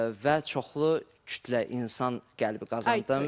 Və çoxlu kütlə, insan qəlbi qazandım.